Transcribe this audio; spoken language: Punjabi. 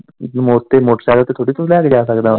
ਮੋਟ ਤੇ ਮੋਟਰਸਾਈਕਲ ਤੇ ਥੋੜੀ ਕੋਈ ਲੈ ਕੇ ਜਾ ਸਕਦਾ ਉਨੂੰ।